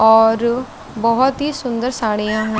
और बहोत ही सुंदर साड़िया है।